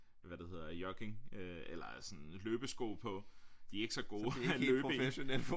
Hvad det hedder jogging øh eller sådan løbesko på de er ikke så gode at løbe i